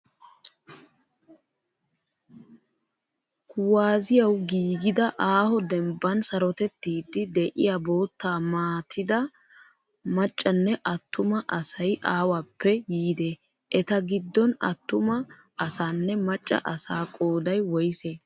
Kuwaazziyawu giigida aaho dembban sarotettiiddi diyaa boottaa maatida maccanne attuma asayi awappe yiidee? Eta giddon attuma asaanne macca asaa qoodayi woyisee?